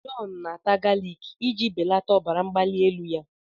John na-ata galik iji belata ọbara mgbali elu ya.